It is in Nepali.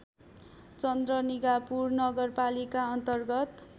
चन्द्रनिगापुर नगरपालिका अन्तर्गत